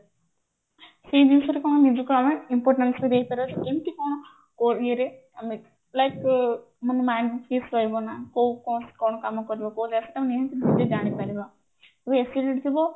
ସେଇ ଜିନିଷ ରେ କଣ ନିଜକୁ ଆମେ ଦେଇପାରିବା ଯେ ଏମିତି କଣ ଇଏ ରେ ଆମେ like ମାନେ mind fix ରହିବ ନା କୋଉ କଣ କାମ କରିବ ଜାଣିପାରିବା acidity ଥିବ